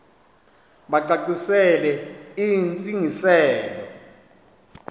bacacisele intsi ngiselo